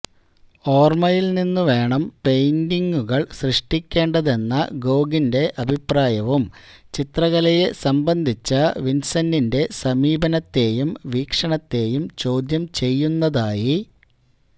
ഓര്മ്മയില്നിന്നു വേണം പെയിന്റിംഗുകള് സൃഷ്ടിക്കേണ്ടതെന്ന ഗോഗിന്റെ അഭിപ്രായവും ചിത്രകലയെ സംബന്ധിച്ച വിന്സന്റിന്റെ സമീപനത്തേയും വീക്ഷണത്തേയും ചോദ്യം ചെയ്യുന്നതായി